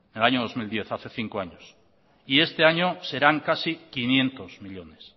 en el año dos mil diez hace cinco años y este año serán casi quinientos millónes